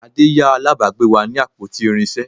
Ade yá alábàgbe wa ní àpótí irinsé